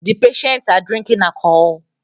The patients are drinking alcohol